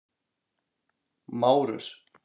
Márus